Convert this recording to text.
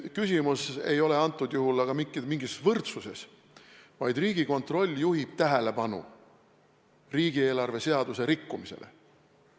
Küsimus ei ole antud juhul aga mingis võrdsuses, vaid Riigikontroll juhib tähelepanu riigieelarve seaduse rikkumisele.